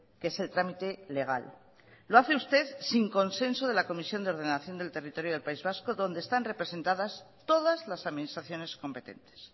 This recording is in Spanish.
que es el trámite legal lo hace usted sin consenso de la comisión de ordenación del territorio del país vasco donde están representadas todas las administraciones competentes